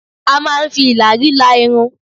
A máa ń fi ìlàrí la irun